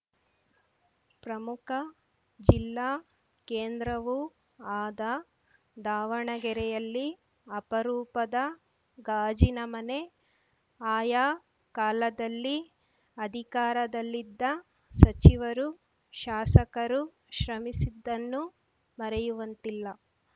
ಪ್ರಮುಖ ಜಿಲ್ಲಾ ಕೇಂದ್ರವೂ ಆದ ದಾವಣಗೆರೆಯಲ್ಲಿ ಅಪರೂಪದ ಗಾಜಿನ ಮನೆ ಆಯಾ ಕಾಲದಲ್ಲಿ ಅಧಿಕಾರದಲ್ಲಿದ್ದ ಸಚಿವರು ಶಾಸಕರು ಶ್ರಮಿಸಿದ್ದನ್ನು ಮರೆಯುವಂತಿಲ್ಲ